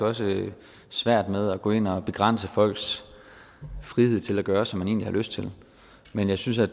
også svært med at gå ind og begrænse folks frihed til at gøre som de egentlig har lyst til men jeg synes at